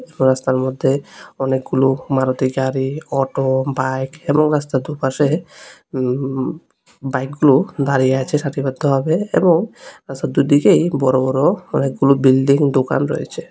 রাস্তার মধ্যে অনেকগুলো মারুতি গাড়ি অটো বাইক এবং রাস্তার দুপাশে উম বাইকগুলো দাঁড়িয়ে আছে সারিবদ্ধভাবে এবং রাস্তার দুইদিকেই বড়ো বড়ো অনেকগুলো বিল্ডিং দোকান রয়েছে।